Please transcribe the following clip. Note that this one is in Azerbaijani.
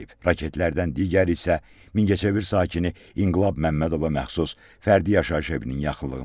Raketlərdən digəri isə Mingəçevir sakini İnqilab Məmmədova məxsus fərdi yaşayış evinin yaxınlığına düşüb.